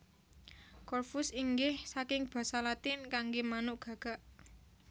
Corvus inggih saking basa Latin kanggé manuk gagak